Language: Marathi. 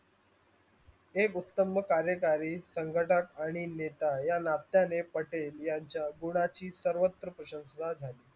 हे गुप्तम कार्यकारी संगठात आणि नेता या नात्याने पटेलयांच्या गुणाची सर्वत्र प्रशंशाता झाली.